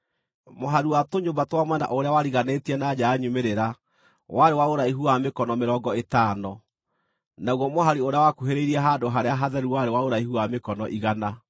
Mũhari wa tũnyũmba twa mwena ũrĩa wariganĩtie na nja ya nyumĩrĩra warĩ wa ũraihu wa mĩkono mĩrongo ĩtano, naguo mũhari ũrĩa wakuhĩrĩirie handũ-harĩa-hatheru warĩ wa ũraihu wa mĩkono igana.